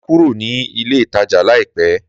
Màá kúrò ní ilé ìtajà láìpé